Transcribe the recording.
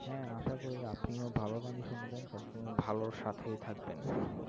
হ্যাঁ আশা করি আপনিও ভালো গানই শুনবেন। সবসময় ভালোর সাথেই থাকবেন।